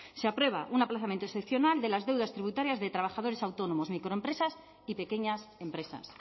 se aprueba un aplazamiento excepcional de las deudas tributarias de trabajadores autónomos microempresas y pequeñas empresas